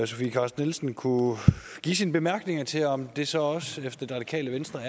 sofie carsten nielsen kunne give sine bemærkninger til om det så også efter det radikale venstres